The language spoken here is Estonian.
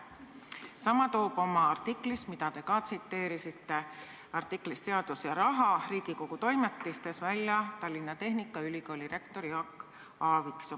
Sama kirjutab oma artiklis, mida te ka tsiteerisite – artiklis "Teadus ja raha" Riigikogu Toimetistes –, Tallinna Tehnikaülikooli rektor Jaak Aaviksoo.